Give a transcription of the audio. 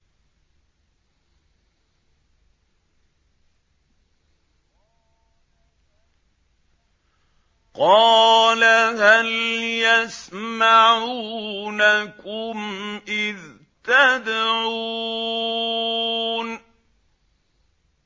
قَالَ هَلْ يَسْمَعُونَكُمْ إِذْ تَدْعُونَ